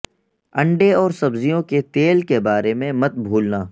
انڈے اور سبزیوں کے تیل کے بارے میں مت بھولنا